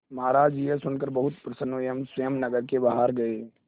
महाराज यह सुनकर बहुत प्रसन्न हुए वह स्वयं नगर के बाहर गए